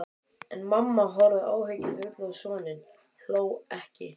En mamma horfði áhyggjufull á soninn, hló ekki.